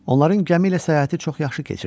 Onların gəmi ilə səyahəti çox yaxşı keçirdi.